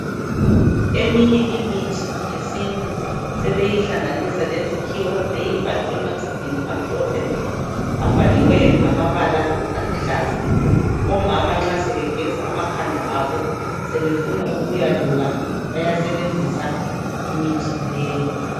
Eminye imithi yesintu sebeyihlanganisa lezikhiwa beyifake ematshubhini amhlophe abhaliweyo ngamabala aluhlaza omama nxa sebegeza amakhanda abo sebefuna ukuyaluka bayasebenzisa imithi leyi.